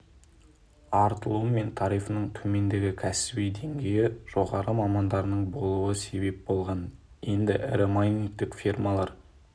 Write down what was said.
артылуы мен тарифінің төмендігі кәсіби деңгейі жоғары мамандардың болуы себеп болған енді ірі майнингтік фермалар